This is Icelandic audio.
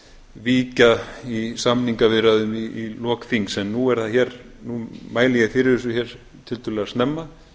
víkja í samningaviðræðum í lok þings en nú mæli ég fyrir þessu tiltölulega snemma